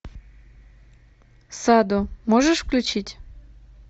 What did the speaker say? садо можешь включить